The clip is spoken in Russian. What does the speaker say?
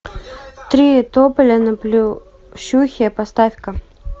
три тополя на плющихе поставь ка